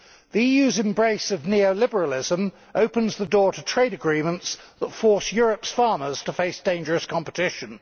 The EU's embrace of neo liberalism opens the door to trade agreements that force Europe's farmers to face dangerous competition.